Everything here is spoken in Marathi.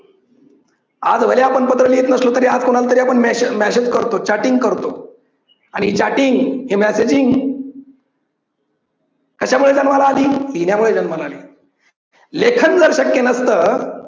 आज भले आपण कोणाला पत्र लिहीत नसलो तरी आज कोणाला तरी आपण मेसेज करतो चॅटिंग करतो आणि चॅटिंग मेसेजिंग कशामुळे जन्माला आली. लिहिल्यामुळे जन्माला आली. लेखन जर शक्य नसतं.